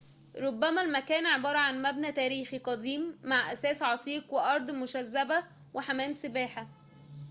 رُبما المكان عبارة عن مبنى تاريخي قديم مع أثاث عتيق وأراضٍ مشذبة وحمام سباحةٍ